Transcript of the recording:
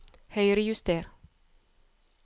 Høyrejuster